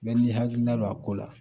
Bɛɛ n'i hakilina don a ko la